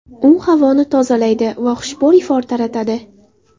U havoni tozalaydi va xushbo‘y ifor taratadi.